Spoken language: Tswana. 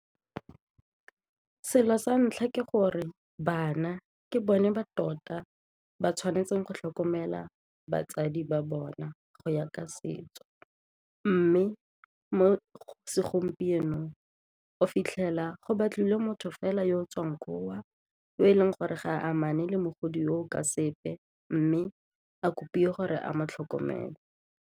Selo sa ntlha ke gore bana ke bone ba tota ba tshwanetseng go tlhokomela batsadi ba bona go ya ka setso mme mo segompienong o fitlhela go batlile motho fela yo o tswang koo yo e leng gore ga a amaneng le mogodi o ka sepe mme a kopilwe gore a mo tlhokomele.